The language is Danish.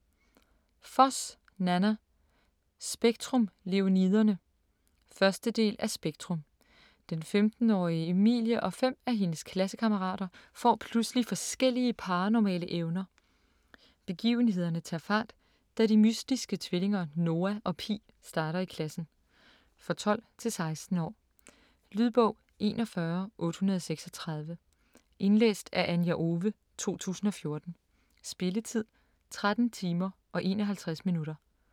Foss, Nanna: Spektrum - Leoniderne 1. del af Spektrum. Den 15-årige Emilie og fem af hendes klassekammerater får pludselig forskellige paranormale evner. Begivenhederne tager fart, da de mystiske tvillinger, Noah og Pi, starter i klassen. For 12-16 år. Lydbog 41836 Indlæst af Anja Owe, 2014. Spilletid: 13 timer, 51 minutter.